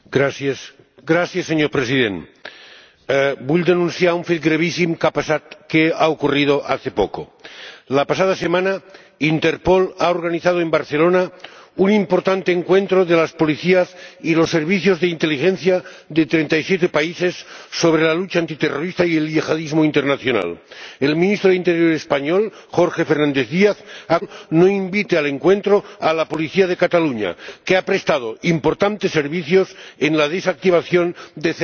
Señor Presidente, quiero denunciar un hecho gravísimo que ha ocurrido hace poco la pasada semana, Interpol organizó en Barcelona un importante encuentro de las policías y los servicios de inteligencia de 37 países sobre la lucha antiterrorista y el yihadismo internacional. El ministro de Interior español, Jorge Fernández Díaz, ha conseguido que Interpol no invite al encuentro a la policía de Cataluña, que ha prestado importantes servicios en la desactivación de células yihadistas.